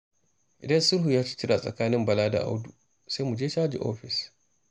Idan sulhun ya ci tura tsakanin Bala da Audu, sai mu je caji ofis